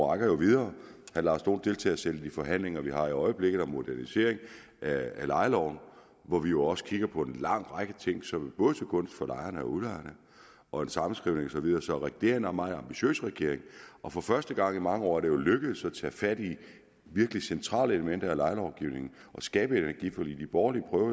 rækker videre herre lars dohn deltager selv i de forhandlinger vi har i øjeblikket om modernisering af lejeloven hvor vi jo også kigger på en lang række ting som er både til gunst for lejerne og udlejerne og en sammenskrivning og så videre så regeringen er en meget ambitiøs regering og for første gang i mange år er det jo lykkedes at tage fat i virkelig centrale elementer i lejelovgivningen og skabe et energiforlig de borgerlige